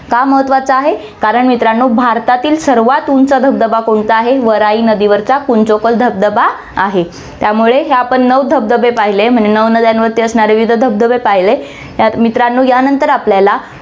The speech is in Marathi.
का महत्वाचा आहे, कारण मित्रांनो, भारतातील सर्वात उंच धबधबा कोणता आहे, वराही नदीवरचा कुंचिकल धबधबा आहे, त्यामुळे हे आपण नऊ धबधबे पाहिले, म्हणजे नऊ नद्यावरती असणारे विविध धबधबे पाहिले. या~ मित्रांनो यानंतर आपल्याला